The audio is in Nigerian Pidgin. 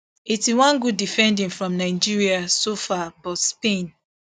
eighty-one good defending from nigeria so far but spain